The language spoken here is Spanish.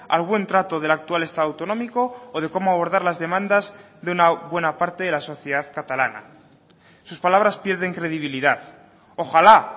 al buen trato del actual estado autonómico o de cómo abordar las demandas de una buena parte de la sociedad catalana sus palabras pierden credibilidad ojalá